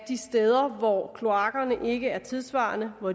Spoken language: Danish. de steder hvor kloakkerne ikke er tidssvarende og